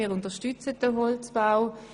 Wir unterstützen den Holzbau.